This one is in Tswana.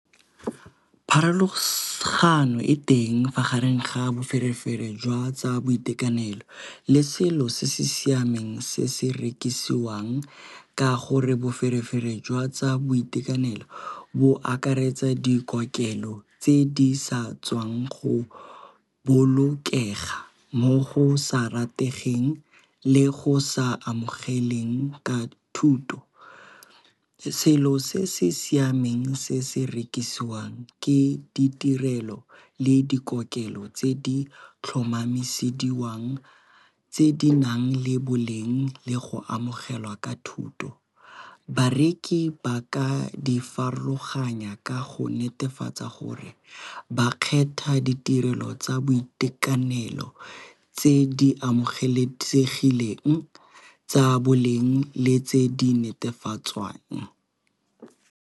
Pharologano e teng magareng ga a boferefere jwa tsa boitekanelo le selo se se siameng se se rekisiwang ka gore boferefere jwa tsa boitekanelo bo akaretsa dikokelo tse di sa tswang go bolokega mo go sa rategeng le go sa amogelegang ka thuto. Selo se se siameng se se rekisiwang ke ditirelo le dikokelo tse di tlhomamisediwang tse di nang le boleng le go amogelwa ka thuto. Bareki ba ka di farologanya ka go netefatsa gore ba kgetha ditirelo tsa boitekanelo tse di amogelesegileng tsa boleng le tse di netefatswang.